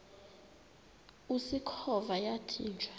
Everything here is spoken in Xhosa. usikhova yathinjw a